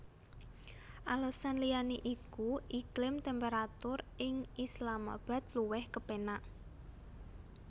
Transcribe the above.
Alesan liyané iku iklim temperatur ing Islamabad luwih kepénak